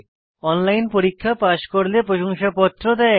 online পরীক্ষা pass করলে প্রশংসাপত্র দেয়